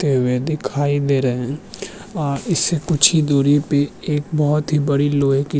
तेवे दीखाई दे रहे हैं आ इससे कुछ ही दुरी पे एक बोहोत ही बडी लोहो की --